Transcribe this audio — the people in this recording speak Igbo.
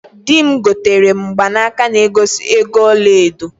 Di m gotere m mgbaka na egosi ego ọla edo.